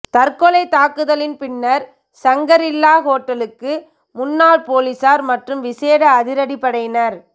தற்கொலைத் தாக்குதலின் பின்னர் சங்கரில்லா ஹோட்டலுக்கு முன்னால் பொலிஸார் மற்றும் விசேட அதிரடிப்படையினர்